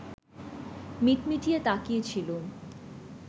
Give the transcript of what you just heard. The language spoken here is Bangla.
মিটমিটিয়ে তাকিয়েছিলুম